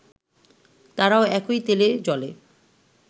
তারাও একই তেলে-জলে